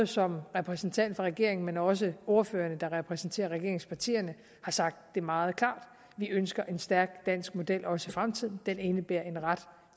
som repræsentant for regeringen også ordførerne der repræsenterer regeringspartierne har sagt det meget klart vi ønsker en stærk dansk model også i fremtiden og den indebærer en ret